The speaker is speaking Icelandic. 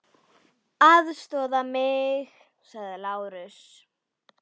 LÁRUS: Aðstoða mig!